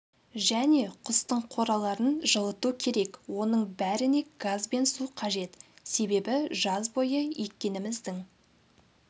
және құстың қораларын жылыту керек оның бәріне газ бен су қажет себебі жаз бойы еккеніміздің